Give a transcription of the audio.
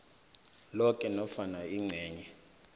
loke nofana ingcenye